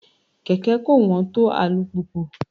Kẹ̀kẹ́ kò wọ́n tó alùpùpù.